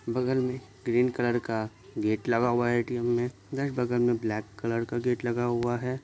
बगल में green colour का गेट लगा हुआ है ए_टी_एम में इधर बगल मे ब्लैक कलर का गेट लगा हुआ हैं।